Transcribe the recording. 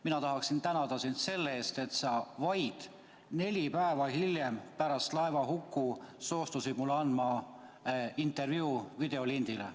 Mina tahan tänada sind selle eest, et sa vaid neli päeva pärast laevahukku soostusid mulle andma intervjuu videolindile.